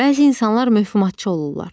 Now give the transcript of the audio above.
Bəzi insanlar mövhumatçı olurlar.